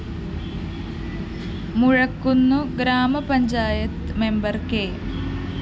മുഴക്കുന്ന് ഗ്രാമപഞ്ചായത് member K